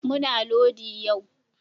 Muna lodi yu